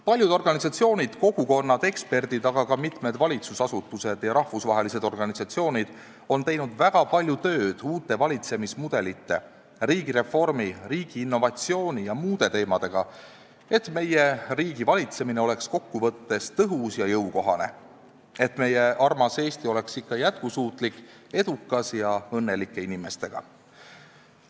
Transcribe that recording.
Paljud organisatsioonid, kogukonnad, eksperdid, aga ka mitmed valitsusasutused ja rahvusvahelised organisatsioonid on teinud väga palju tööd uute valitsemismudelite, riigireformi, riigi innovatsiooni ja muude teemadega, et meie riigi valitsemine oleks kokkuvõttes tõhus ja jõukohane ning meie armas Eesti oleks ikka jätkusuutlik ja edukas ning siin elaksid õnnelikud inimesed.